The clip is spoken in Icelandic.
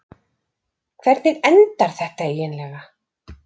Hvernig endar þetta eiginlega?